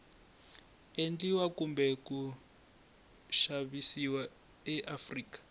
endliwa kumbe ku xavisiwa eafrika